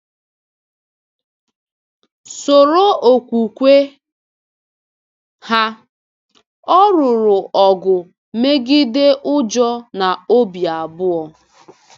Soro okwukwe ha — Ọ lụrụ ọgụ megide ụjọ na obi abụọ.